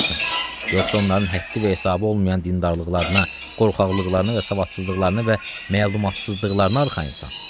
Yoxsa onların həddi və hesabı olmayan dindarlıqlarına, qorxaqlıqlarına və savadsızlıqlarına və məlumatsızlıqlarına arxayınsan?